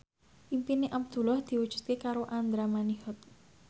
impine Abdullah diwujudke karo Andra Manihot